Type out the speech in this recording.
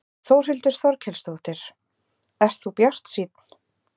Þórhildur Þorkelsdóttir: Ert þú bjartsýnn?